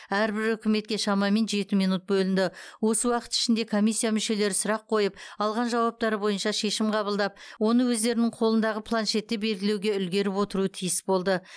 әрбір үкіметке шамамен жеті минут бөлінді осы уақыт ішінде комиссия мүшелері сұрақ қойып алған жауаптары бойынша шешім қабылдап оны өздерінің қолындағы планшетте белгілеуге үлгеріп отыруы тиіс болды